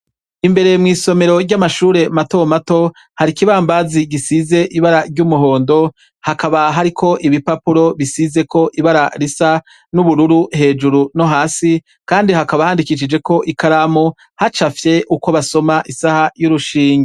Imbere mw'isomero ry'amashure matomato hari ikibambazi gisize ibara ry'umuhondo ,hakaba hariko ibipapuro bisizeko ibara risa n'ubururu hejuru nohasi Kandi hakaba handikishijeko ikaramu hacafye uko basoma isaha y'urushinge.